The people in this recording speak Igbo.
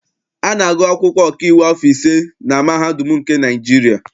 A na-agụ akwụkwọ ọkaiwu afọ ise na mahadum nke Naịjirịa.